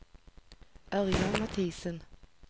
Ørjan Mathisen